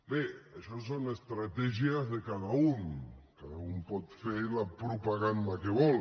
bé això són estratègies de cada un cada un pot fer la propaganda que vol